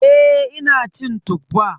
Eh ina cin Tuffa.